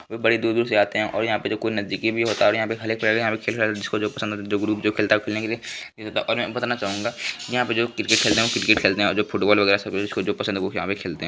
बड़ी दूर-दूर से आते है और कोई यहाँ नज़दीकी भी होता है और यहाँ खाली पेड़ झोल पसंद जो ग्रुप खेलता है खेलने के लिए और बताना जाऊंगा यहाँ पर जो क्रिकेट खेलते है क्रिकेट है जो फुटबॉल वगेरा सब पसंद करते यहाँ खेलते है।